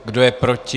Kdo je proti?